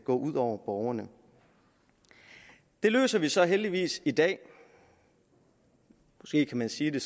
går ud over borgerne det løser vi så heldigvis i dag måske kan man sige det